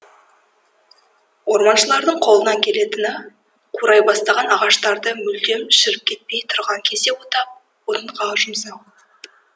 орманшылардың қолынан келетіні қурай бастаған ағаштарды мүлдем шіріп кетпей тұрған кезде отап отынға жұмсау